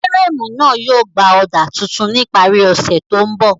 Fírèmù náà yóò gbà ọ̀dà tuntun ní ìparí ọ̀sẹ̀ tó ń bọ̀